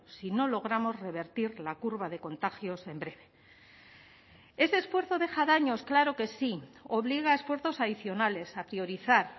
si no logramos revertir la curva de contagios en breve ese esfuerzo deja daños claro que sí obliga a esfuerzos adicionales a priorizar